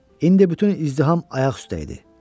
İndi bütün izdiham ayaq üstə idi.